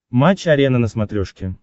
матч арена на смотрешке